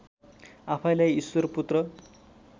आफैँलाई ईश्वरपुत्र